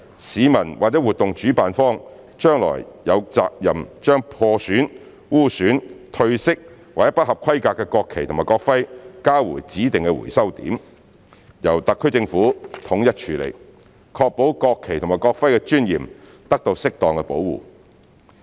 市民或活動主辦方將來有責任將破損、污損、褪色或不合規格的國旗及國徽交回指定回收點，由特區政府統一處理，確保國旗及國徽的尊嚴得到適當保護。